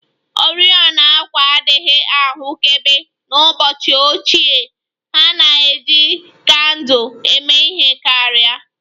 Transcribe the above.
Oriọna àkwà adịghị ahụkebe n'ụbọchị ochie, ha na-eji kandụl eme ihe karị